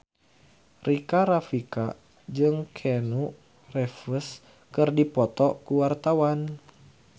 Rika Rafika jeung Keanu Reeves keur dipoto ku wartawan